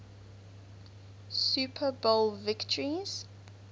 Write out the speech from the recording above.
super bowl victories